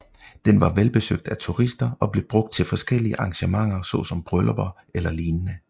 Den var velbesøgt af turister og blev brugt til forskellige arrangementer såsom bryllupper eller lignende